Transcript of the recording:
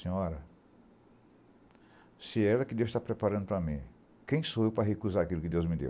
Senhora, se era que Deus está preparando para mim, quem sou eu para recusar aquilo que Deus me deu?